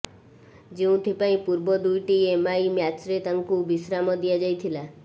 ଯେଉଁଥିପାଇଁ ପୂର୍ବ ଦୁଇଟି ଏମଆଇ ମ୍ୟାଚ୍ରେ ତାଙ୍କୁ ବିଶ୍ରାମ ଦିଆଯାଇଥିଲା